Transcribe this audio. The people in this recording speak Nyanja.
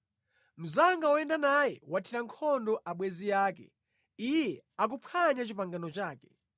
Mnzanga woyenda naye wathira nkhondo abwenzi ake; iye akuphwanya pangano ake.